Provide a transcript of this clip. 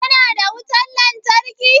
Kuna da wutan lantarki?